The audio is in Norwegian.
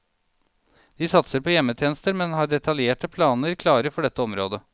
De satser på hjemmetjenester, men har detaljerte planer klare for dette området.